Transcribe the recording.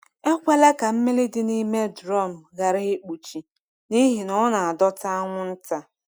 Ekwela ka mmiri dị n’ime drọm ghara ikpuchi, n’ihi na ọ na-adọta anwụnta.